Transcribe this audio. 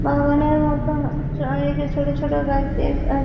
বাগানের মত চ একা ছোট ছোট গাছ দিয়ে আর--